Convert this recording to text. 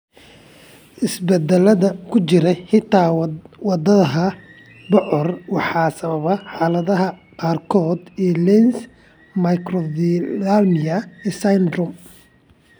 Isbeddellada ku jira hidda-wadaha BCOR waxay sababaan xaaladaha qaarkood ee Lenz microphthalmia syndrome.